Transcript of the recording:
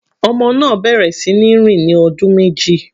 Ọmọ náà bẹ̀rẹ̀ sí ní rìn ní ọdún méjì.